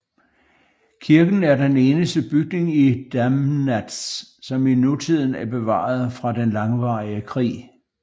Kirken er den eneste bygning i Damnatz som i nutiden er bevaret fra den langvarige krig